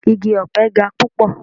Igi ọ̀pe ga púpọ̀.